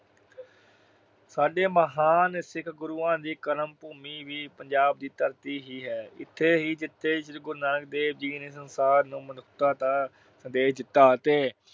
ਸਾਡੇ ਮਹਾਨ ਸਿੱਖ ਗੁਰੂਆਂ ਦੀ ਕਰਮ ਭੂਮੀ ਵੀ ਪੰਜਾਬ ਦੀ ਧਰਤੀ ਹੀ ਹੈ। ਇਥੇ ਹੀ ਜਿਥੇ ਸ਼੍ਰੀ ਗੁਰੂ ਨਾਨਕ ਦੇਵ ਜੀ ਨੇ ਸੰਸਾਰ ਨੂੰ ਮਨੁੱਖਤਾ ਦਾ ਸੰਦੇਸ਼ ਦਿੱਤਾ ਅਤੇ